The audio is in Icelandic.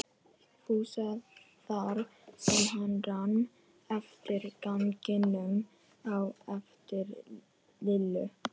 Fúsa þar sem hann rann eftir ganginum á eftir Lillu.